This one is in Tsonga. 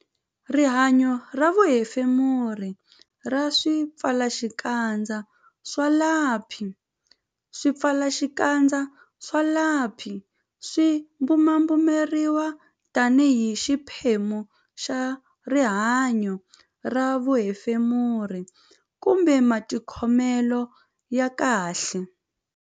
Rihanyo ra vuhefemuri ra swipfalaxikandza swa lapi Swipfalaxikandza swa lapi swi bumabumeriwa tanihi xiphemu xa rihanyo ra vuhefemuri kumbe matikhomelo ya kahle.